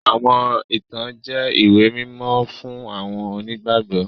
Àwọn ìtàn ẹ̀sìn jẹ ìwé mímó fun àwọn onígbàgbọ́.